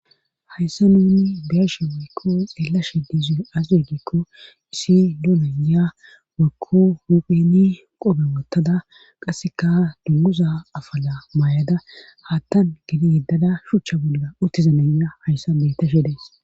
Hayssa nuni beeshe waykko xeellashe diizu az regikko issi duunanya wakko hupheni qope wottada qasseka dunguza afala maayada haattan gidi yeddada shuchcha bodda uttizananya hayssa betta sheedays